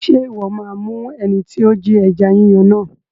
Ṣé Ìwọ́ máa mú ẹni tí ó Jí ẹja Yíyan náà?